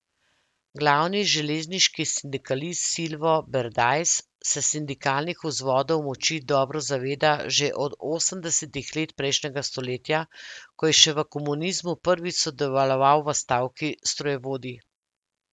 Glavni železniški sindikalist Silvo Berdajs se sindikalnih vzvodov moči dobro zaveda že od osemdesetih let prejšnjega stoletja, ko je še v komunizmu prvič sodeloval v stavki strojevodij.